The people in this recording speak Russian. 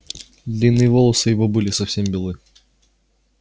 длинные волосы его были совсем белы